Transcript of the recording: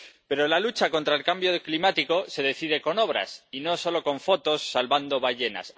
Pero la lucha contra el cambio climático se decide con obras y no solo con fotos salvando ballenas.